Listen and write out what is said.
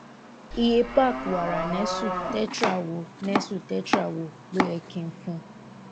iye pack wàrà nestle tetra wo nestle tetra wo lo yẹ kí n fún